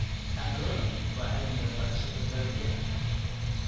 Agronomy waa cilmiga barashada dalagyada.